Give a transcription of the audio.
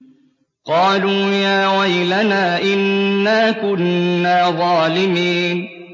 قَالُوا يَا وَيْلَنَا إِنَّا كُنَّا ظَالِمِينَ